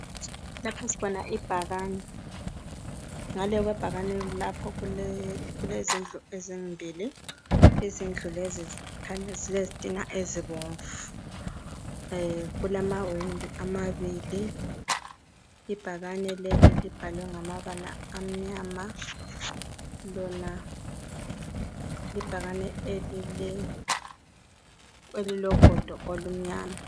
Lapha sibona ibhakani. Ngale kwebhakani kulezindlu ezimbili. Izindlu lezi zikhanya zilezitina ezibomvu kulamawindi amabili. Ibhakane leli libhalwe ngamabala amnyama. Lona libhakane elilogodo olumnyama.